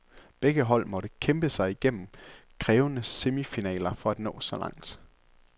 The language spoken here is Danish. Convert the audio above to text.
Begge hold måtte kæmpe sig igennem krævende semifinaler for at nå så langt.